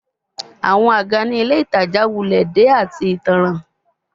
Awọn aga ni Ile Itaja wulẹ de ati itanran